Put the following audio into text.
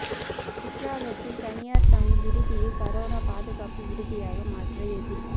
குற்றாலத்தில் தனியாா் தங்கும் விடுதியை கரோனா பாதுகாப்பு விடுதியாக மாற்ற எதிா்ப்பு